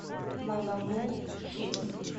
мама му хип